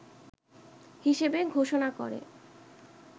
হিসেবে ঘোষনা করে